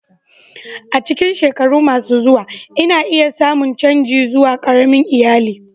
A cikin shekaru masu zuwa, ana iya samun canji zuwa ƙaramin iyali.